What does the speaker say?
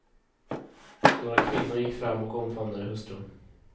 Några kvinnor gick fram och omfamnade hustrun.